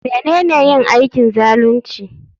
Menene yin aikin zalunci?